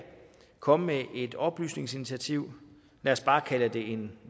komme med et oplysningsinitiativ lad os bare kalde det en